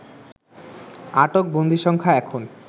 আটক বন্দীসংখ্যা এখন